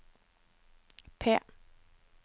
P